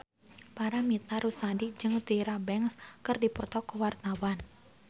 Paramitha Rusady jeung Tyra Banks keur dipoto ku wartawan